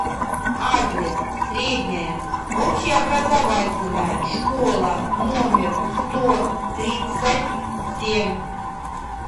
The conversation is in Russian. адрес средняя общеобразовательная школа номер сто тридцать семь